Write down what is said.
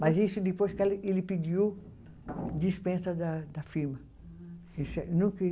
Mas isso depois que ele pediu dispensa da da firma.